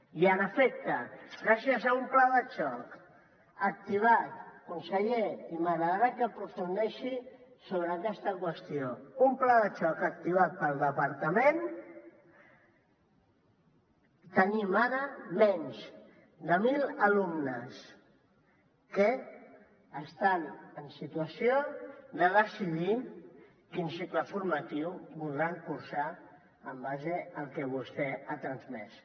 i en efecte gràcies a un pla de xoc activat conseller i m’agradarà que aprofundeixi sobre aquesta qüestió pel departament tenim ara menys de mil alumnes que estan en situació de decidir quin cicle formatiu voldran cursar en base al que vostè ha transmès